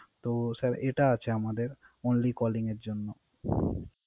তো স্যার এটা আছে আমাদের Only calling জন্য